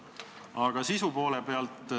Aga sisu poole pealt.